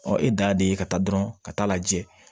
Ɔ e da de ye ka taa dɔrɔn ka taa lajɛ